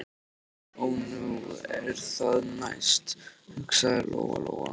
Ó, nú er það næst, hugsaði Lóa Lóa.